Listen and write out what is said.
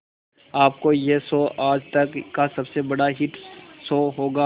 आपका यह शो आज तक का सबसे बड़ा हिट शो होगा